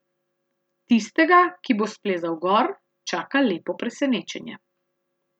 Tistega, ki bo splezal gor, čaka lepo presenečenje.